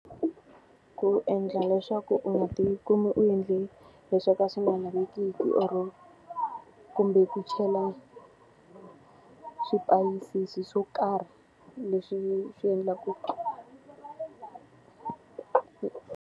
Ku endla leswaku u nga ti kumi u endle le swo ka swi nga lavekiki or kumbe ku chela swipayisisi swo karhi leswi swi endlaku .